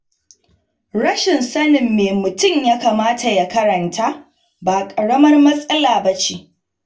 Rashin sanin me mutum ya kamata ya karanta ba ƙaramar matsala ba ce.